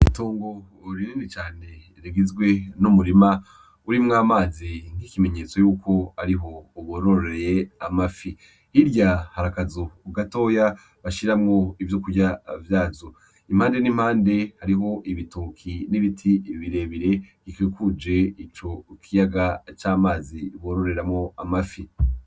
Itongo runini cane rigizwe n’umurima urimwo amazi nk'ikimenyetso yuko ariho bororoye amafi, hirya hari akazu gatoya bashiramwo ivyo kurya vyazo, impande n'impande hariho ibitoki n'ibiti birebire bikikuje ico kiyaga c'amazi bororeramwo amafi.